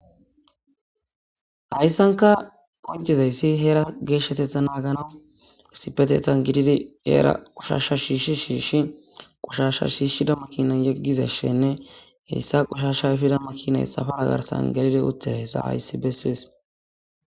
hayssanka qoncizayssi heera geeshshetetha naagana sipetethan gididi eera qushashsha shiishshi shiishi qushashsha shiishshida makinan yeggizashenne heyssa qushasha fida makinay safaagarsan galile utte hesa hayssi bessees